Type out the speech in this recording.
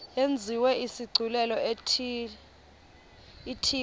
yenziwe isigculelo ithiwe